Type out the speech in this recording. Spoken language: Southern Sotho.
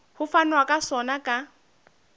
ho fanwa ka sona ka